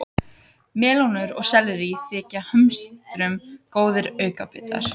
Melónur og sellerí þykja hömstrum góðir aukabitar.